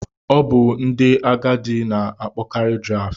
Ọ bụ ndị agadi na-akpọkarị Draft.